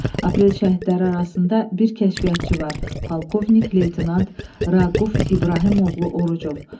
Aprel şəhidləri arasında bir kəşfiyyatçı var, polkovnik-leytenant Raquf İbrahimoğlu Orucov.